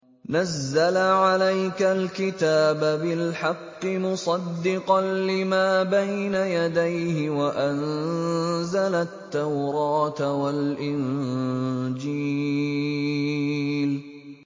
نَزَّلَ عَلَيْكَ الْكِتَابَ بِالْحَقِّ مُصَدِّقًا لِّمَا بَيْنَ يَدَيْهِ وَأَنزَلَ التَّوْرَاةَ وَالْإِنجِيلَ